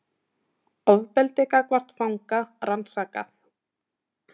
Ofbeldi gagnvart fanga rannsakað